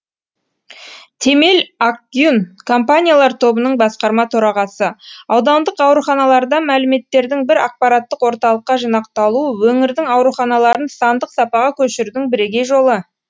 темел акгюн компаниялар тобының басқарма төрағасы аудандық ауруханалардан мәліметтердің бір ақпараттық орталыққа жинақталуы өңірдің ауруханаларын сандық сапаға көшірудің бірегей жолы